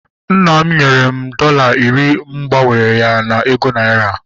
Nna m nyere m dọla iri mụ gbanwere ya na ego naira